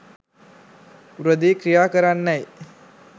උරදී ක්‍රියා කරන්නැයි